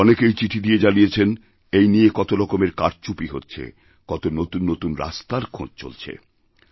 অনেকেই চিঠি দিয়ে জানিয়েছেন এই নিয়ে কত রকমের কারচুপি হচ্ছে কতনতুন নতুন রাস্তার খোঁজ চলছে